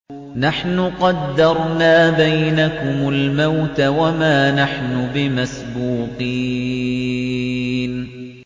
نَحْنُ قَدَّرْنَا بَيْنَكُمُ الْمَوْتَ وَمَا نَحْنُ بِمَسْبُوقِينَ